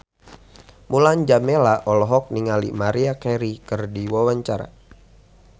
Mulan Jameela olohok ningali Maria Carey keur diwawancara